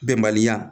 Bɛnbaliya